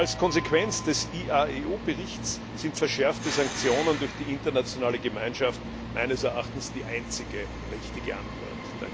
Als Konsequenz des IAEO Berichts sind verschärfte Sanktionen durch die internationale Gemeinschaft meines Erachtens die einzige richtige Antwort.